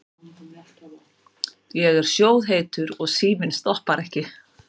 Ég er sjóðheitur og síminn stoppar ekki.